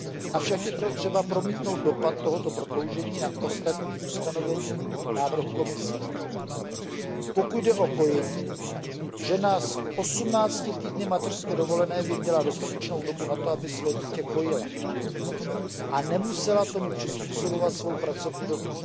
Avšak je třeba promítnout dopad tohoto prodloužení na ostatní ustanovení návrhu Komise pokud jde o kojení, žena s 18 týdny mateřské dovolené by měla dostatečnou dobu na to, aby své dítě kojila a nemusela tomu přizpůsobovat svou pracovní dobu.